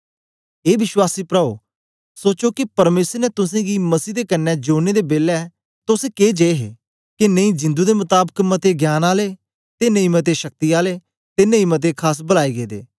ए विश्वासी प्राओ सोचो के परमेसर ने तुसेंगी मसीह दे कन्ने जोड़ने दे बेलै तोस के जिये हे के नेई जिंदु दे मताबक मते ज्ञानआले ते नेई मते शक्ति आले ते नेई मते खास बलाए गेदे